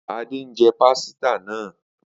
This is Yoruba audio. Ade njẹ pasita naa